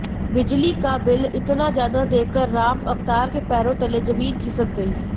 बिजली का बिल इतना ज्यादा देखकर राम अवतार के पैरों तले जमीन खिसक गई